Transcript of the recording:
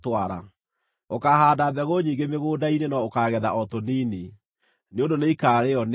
Ũkaahaanda mbegũ nyingĩ mũgũnda-inĩ no ũkaagetha o tũnini, nĩ ũndũ nĩikarĩĩo nĩ ngigĩ.